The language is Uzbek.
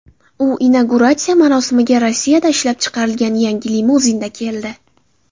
U inauguratsiya marosimiga Rossiyada ishlab chiqarilgan yangi limuzinda keldi .